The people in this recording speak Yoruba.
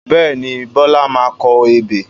Bẹ́ẹ̀ni, Bọlá máa kọ ebè